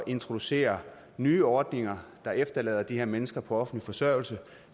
introducere nye ordninger der efterlader de her mennesker på offentlig forsørgelse